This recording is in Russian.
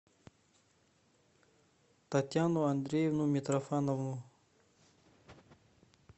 татьяну андреевну митрофанову